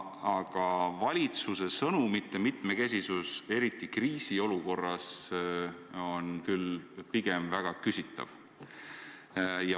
Aga valitsuse sõnumite mitmekesisus, eriti kriisiolukorras, on küll väga küsitav.